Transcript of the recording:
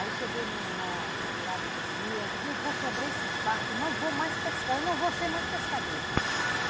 Aí cheguei na na beirada do rio, aí eu digo, eu vou quebrar esse barco, não vou mais pescar, eu não vou ser mais pescadora.